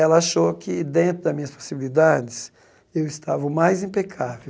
Ela achou que, dentro das minhas possibilidades, eu estava o mais impecável.